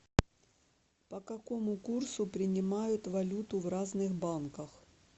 по какому курсу принимают валюту в разных банках